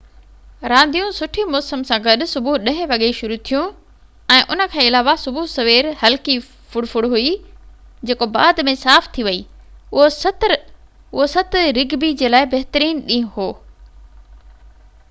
رانديون سٺي موسم سان گڏ صبح 10:00 وڳي شروع ٿيون ۽ ان کان علاوه صبح سوير هلڪي ڦڙ ڦڙ هئي جيڪو بعد ۾ صاف ٿي ويئي اهو 7 رگبي جي لاءِ بهترين ڏينهن هويو